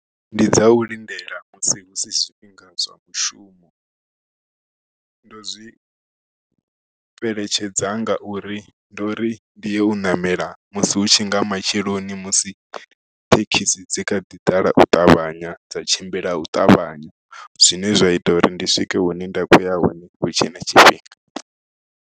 Ndi dza u lindela musi husi zwifhinga zwa mushumo ndo zwi fheletshedza ngauri ndo uri ndi ya u ṋamela musi u tshi tshi nga matsheloni musi thekhisi dzi kha ḓi ḓala u ṱavhanya dza tshimbila u ṱavhanya zwine zwa ita uri ndi swike hune nda khoya hone hu tshe na tshifhinga.